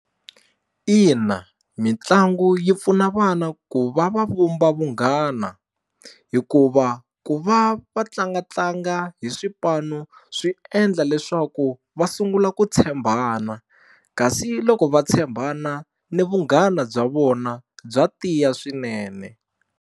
Ina mitlangu yi pfuna vana ku va va vumba vunghana hikuva ku va va tlangatlanga hi swipano swi endla leswaku va sungula ku tshembana kasi loko va tshembana ni vunghana bya vona bya tiya swinene.